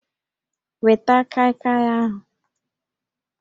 Weta kaịkaị ahụ!